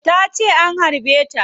Tace an harbe ta